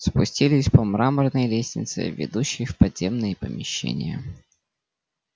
спустились по мраморной лестнице ведущей в подземные помещения